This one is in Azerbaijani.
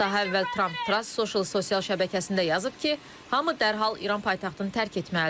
Daha əvvəl Tramp Truth Social sosial şəbəkəsində yazıb ki, hamı dərhal İran paytaxtını tərk etməlidir.